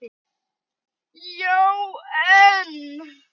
Já, en